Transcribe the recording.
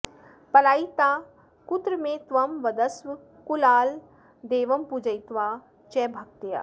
पलायिता कुत्र मे त्वं वदस्व कुलालदेवं पूजयित्वा च भक्त्या